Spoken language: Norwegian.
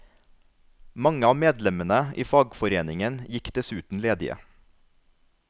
Mange av medlemmene i fagforeningen gikk dessuten ledige.